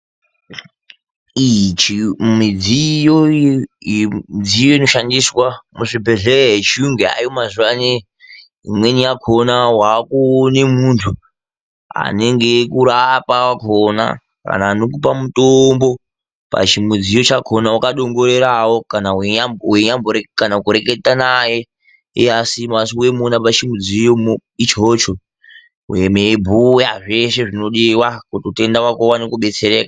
Iji midziyo inoshandiswa muzvibhedhleya echiyungu yaayo mazuwa anei, imweni yakhona waakuone muntu anenge eikurapa wakhona. Kana anokupa mutombo pachimudziyo chakhona wakadongorerawo, kana kureketa naye iye asimo asi weimuona pachimudziyo ichocho. Meibhuya zveshe zvinodiwa kuti utenda wako uwane kudetsereka.